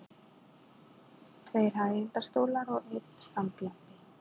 Tveir hægindastólar og einn standlampi.